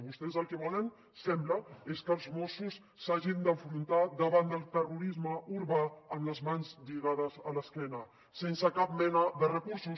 vostès el que volen sembla és que els mossos s’hagin d’enfrontar davant del terrorisme urbà amb les mans lligades a l’esquena sense cap mena de recursos